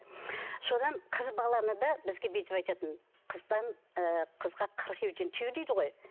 содан қыз баланы да бізге бүйтіп айтатын ыыы қызға қырық үйден тыю дейді ғой